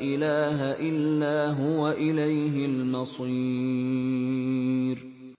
إِلَٰهَ إِلَّا هُوَ ۖ إِلَيْهِ الْمَصِيرُ